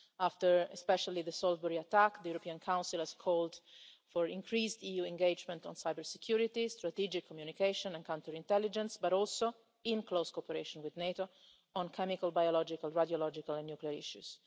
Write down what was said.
After the Salisbury attack, the European Council called for increased EU engagement on cyber security, strategic communication and counter intelligence, as well as close cooperation with NATO on chemical, biological, radiological and nuclear issues.